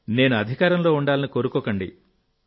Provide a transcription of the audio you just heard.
నేను అధికారంలో ఉండాలని కోరుకోకండి